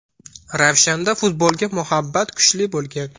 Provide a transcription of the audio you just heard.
Ravshanda futbolga muhabbat kuchli bo‘lgan.